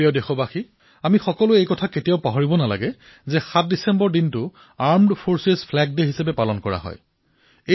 মোৰ মৰমৰ দেশবাসীসকল আমি সকলো দেশবাসীয়ে ৭ ডিচেম্বৰৰ সশস্ত্ৰ বাহিনী পতাকা দিৱসৰ কথা কেতিয়াও পাহৰা উচিত নহয়